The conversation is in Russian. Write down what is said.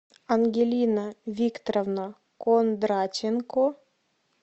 ангелина викторовна кондратенко